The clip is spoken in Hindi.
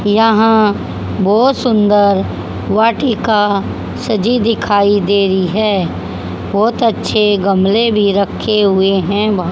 यहां बहुत सुंदर वाटिका सजी दिखाई दे रही है बहुत अच्छे गमले भी रखे हुए हैं बहुत --